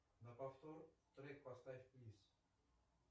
на повтор трек поставь плиз